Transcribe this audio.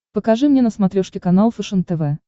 покажи мне на смотрешке канал фэшен тв